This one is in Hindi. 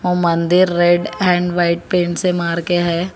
मंदिर रेड एंड व्हाइट पेंट से मार के है।